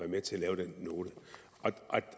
med til at lave den note